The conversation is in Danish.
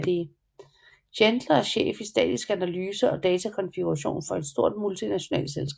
Chandler er chef i statisk analyse og datakonfiguration for et stort multinationalt firma